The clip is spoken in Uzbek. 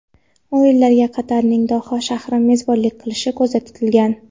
O‘yinlarga Qatarning Doha shahri mezbonlik qilishi ko‘zda tutilgan.